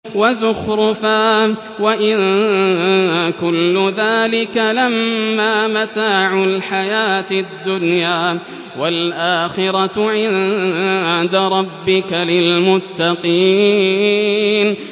وَزُخْرُفًا ۚ وَإِن كُلُّ ذَٰلِكَ لَمَّا مَتَاعُ الْحَيَاةِ الدُّنْيَا ۚ وَالْآخِرَةُ عِندَ رَبِّكَ لِلْمُتَّقِينَ